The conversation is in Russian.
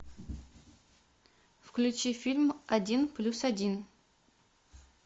включи фильм один плюс один